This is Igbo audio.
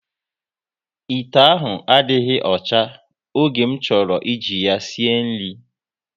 Ite ahụ adịghị ọcha, oge m chọrọ ị ji ya sie nri